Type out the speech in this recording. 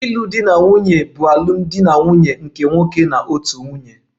Ịlụ di na nwunye bụ alụmdi na nwunye nke nwoke na otu nwunye